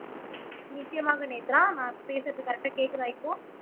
நிச்சயமாக நேத்ரா நான் பேசுறது கரெக்டா கேட்குதா இப்போ